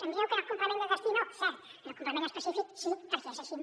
em dieu que en el complement de destí no cert en el complement específic sí perquè és així